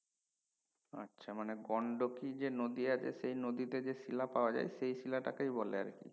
আচ্ছা মানে গোন্ড কি যেনো নদী আছে সেই নদী থেকে শিলা পাওয়া যায় সেই শিলা টাকে বলে আর কি